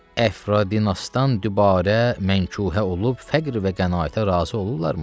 Əfradinəsdən dübarə mənkuhə olub fəqr və qənaətə razı olurlarmı?